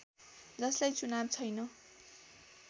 जसलाई चुनाव छैन